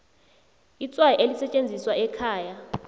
itswayi elisetjenziswa ekhaya